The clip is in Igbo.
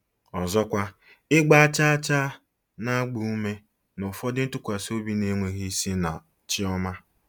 Ọzọkwa, ịgba chaa chaa na-agba ume n'ụfọdụ ntụkwasị obi na-enweghị isi na chi ọma.